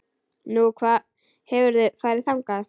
Nú, hefurðu farið þangað?